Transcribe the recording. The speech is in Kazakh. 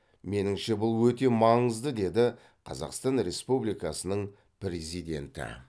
меніңше бұл өте маңызды деді қазақстан республикасының президенті